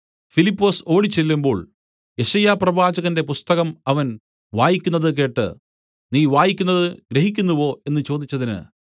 ഫിലിപ്പൊസ് ഓടിച്ചെല്ലുമ്പോൾ യെശയ്യാപ്രവാചകന്റെ പുസ്തകം അവൻ വായിക്കുന്നതു കേട്ട് നീ വായിക്കുന്നത് ഗ്രഹിക്കുന്നുവോ എന്ന് ചോദിച്ചതിന്